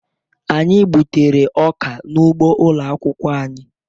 Anyị na-gbutere ọka n'ugbo ụlọ akwụkwọ anyị